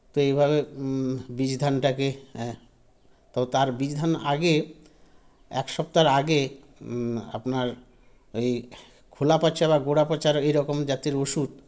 তো এইভাবে ম বীজধানটাকে এ তো তার বীজধান আগে এক সপ্তাহর আগে ম আপনার এ খোলাপঁচার গোলাপঁচার এরকম জাতের ওষুধ